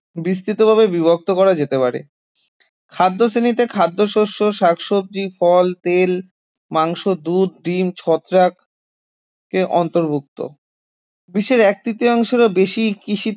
বিস্তৃতভাবে বিভক্ত করা যেতে পারে খাদ্যশ্রেণীতে খাদ্যশস্য, শাকসবজি, ফল, তেল, মাংস, দুধ, ডিম ছত্রাক এর অন্তর্ভুক্ত বিশ্বের এক তৃতীয়াংশেরও বেশি কৃষি